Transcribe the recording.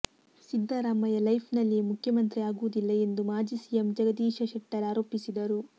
ಸಿದ್ದರಾಮಯ್ಯ ಲೈಫನಲ್ಲಿಯೇ ಮುಖ್ಯಮಂತ್ರಿ ಆಗುವುದಿಲ್ಲ ಎಂದು ಮಾಜಿ ಸಿಎಂ ಜಗದೀಶ ಶೆಟ್ಟರ್ ಆರೋಪಿಸಿದರು